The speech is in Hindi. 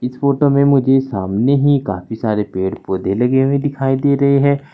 इस फोटो में मुझे सामने ही काफी सारे पेड़ पौधे लगे हुए दिखाई दे रहे हैं।